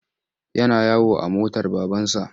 Yana yawo a motar babansa.